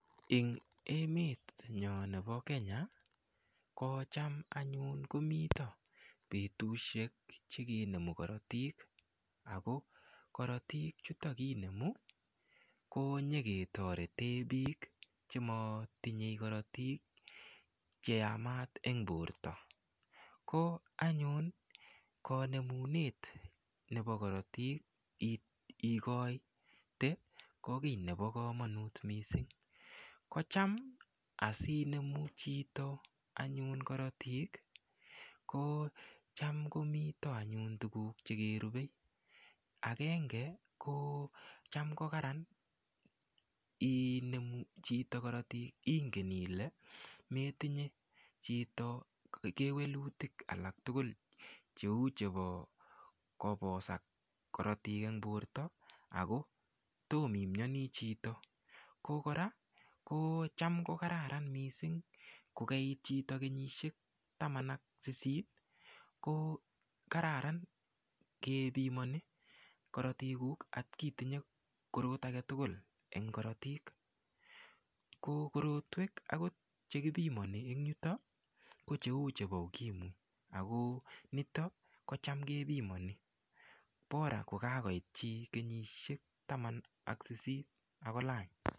Eng' emenyo nebo Kenya ko cham anyun komito betushek chekenomu korotik ako korotik chutok kinomu konyiketorete biik chematinyei korotik cheyamat eng' borto ko anyun kanemunet nebo korotik ikoite ko kii nebo kamanut mising' ko cham asiinemu chito anyun korotik ko cham komito anyun tukuk chekerubei agenge ko cham kokaran inemu chito korotik ingen ile metinye chito kewelutik alak tugul cheu chebo kobosak korotik eng' borto ako tom imiyoni chito ko kora ko cham kokararan mising' chito kukeiit kenyishek taman ak sisit ko kararan kepimoni korotikuk atkitinye korot age tugul eng' korotik ko korotwek akot chekipimoni ko cheu chebo ukimwi ako nito kocham kepimoni bora kukakoit chi kenyishek taman ak sisit akolany